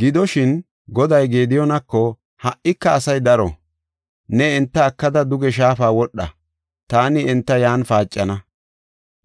Gidoshin, Goday Gediyoonako, “Ha77ika asay daro. Ne enta ekada duge shaafa wodha; taani enta yan paacana.